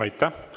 Aitäh!